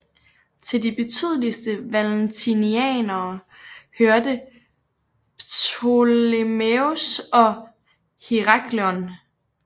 Til de betydeligste valentinianere hørte Ptolemæus og Herakleon